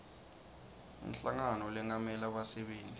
inhlangano lengamela bassebenti